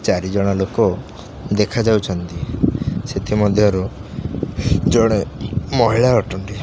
ଚାରି ଜଣ ଲୋକ ଦେଖା ଯାଉଛନ୍ତି ସେଥି ମଧ୍ୟ ରୁ ଜଣେ ମହିଳା ଅଟନ୍ତି।